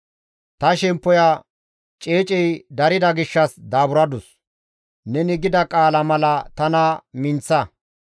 Ta shemppoya ceecey darida gishshas daaburadus; neni gida qaala mala tana minththa.